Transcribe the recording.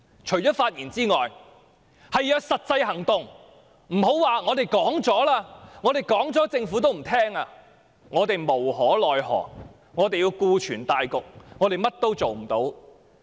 除了發言外，還要有實際行動，別說"政府不接受我們的意見、我們無可奈何、我們要顧全大局，或者我們甚麼也做不到"。